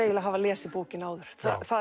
að hafa lesið bókina áður